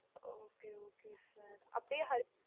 okay okay sir அப்படியே